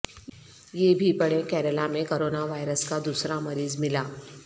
یہ بھی پڑھیں کیرالہ میں کرونا وائرس کا دوسرا مریض ملا